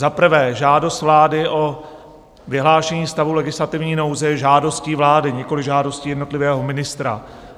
Za prvé, žádost vlády o vyhlášení stavu legislativní nouze je žádostí vlády, nikoliv žádostí jednotlivého ministra.